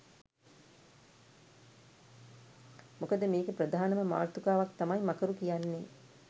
මොකද මේකේ ප්‍රධානම මාතෘකාවක් තමයි මකරු කියන්නේ.